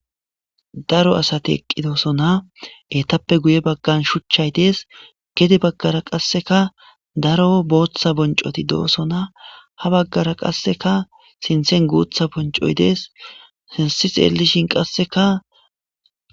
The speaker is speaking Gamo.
daro asati eqqidoosana etappe guye baggan shuchchay dees gedi baggara qasseka daro booththa boncoti doosona ha baggara qasseka sinthen guutha boncoy dees sinsi xeellishin qasseka